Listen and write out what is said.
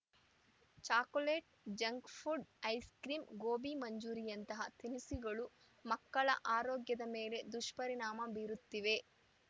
chocolate junk food ice cream gobi ಮಂಚೂರಿಯಂತಹ ತಿನಿಸುಗಳು ಮಕ್ಕಳ ಆರೋಗ್ಯದ ಮೇಲೂ ದುಷ್ಪರಿಣಾಮ ಬೀರುತ್ತಿವೆ